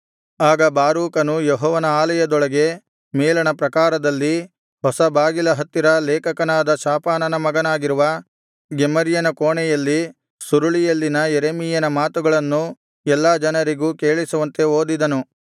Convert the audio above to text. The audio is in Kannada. ಆಗ ಬಾರೂಕನು ಯೆಹೋವನ ಆಲಯದೊಳಗೆ ಮೇಲಣ ಪ್ರಾಕಾರದಲ್ಲಿ ಹೊಸ ಬಾಗಿಲ ಹತ್ತಿರ ಲೇಖಕನಾದ ಶಾಫಾನನ ಮಗನಾಗಿರುವ ಗೆಮರ್ಯನ ಕೋಣೆಯಲ್ಲಿ ಸುರುಳಿಯಲ್ಲಿನ ಯೆರೆಮೀಯನ ಮಾತುಗಳನ್ನು ಎಲ್ಲಾ ಜನರಿಗೂ ಕೇಳಿಸುವಂತೆ ಓದಿದನು